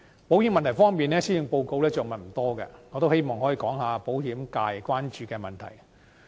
保險問題方面，施政報告着墨不多，我希望可以談及保險界關注的問題。